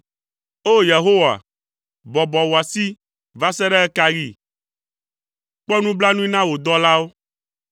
O! Yehowa, bɔbɔ wò asi! Va se ɖe ɣe ka ɣi? Kpɔ nublanui na wò dɔlawo.